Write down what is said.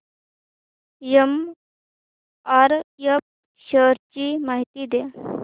MRF shares ची माहिती द्या